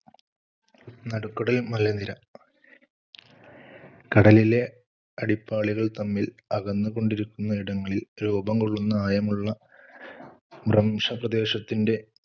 നടുക്കടൽമലനിര, കടലിലെ അടിപ്പാളികൾ തമ്മിൽ അകന്നുകൊണ്ടിരിക്കുന്നയിടങ്ങളിൽ രൂപംകൊള്ളുന്ന ആയമുള്ള ഭ്രംശപ്രദേശത്തിന്‍റെ